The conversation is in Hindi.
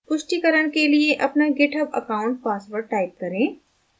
पुष्टिकरण के लिए अपना github account password type करें